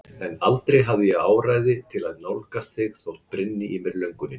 En aldrei hafði ég áræði til að nálgast þig þótt brynni í mér löngunin.